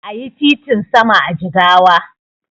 Ayi titin sama a Jigawa